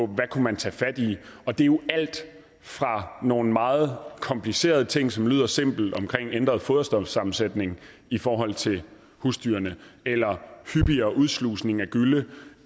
man kunne tage fat i og det er jo alt fra nogle meget komplicerede ting som lyder simple omkring ændret foderstofsammensætning i forhold til husdyrene eller hyppigere udslusning af gylle